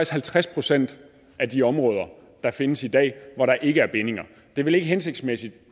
halvtreds procent af de områder der findes i dag hvor der ikke er bindinger det er vel ikke hensigtsmæssigt